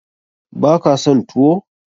Baka son tuwo?